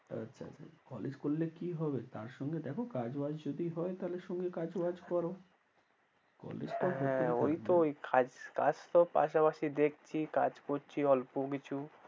আচ্ছা আচ্ছা College করলে কি হবে তার সঙ্গে দেখো কাজ বাজ যদি হয় তাহলে সঙ্গে কাজ বাজ করো হ্যাঁ ঐ তো কাজ তো পাশাপাশি দেখছি কাজ করছি অল্পকিছু।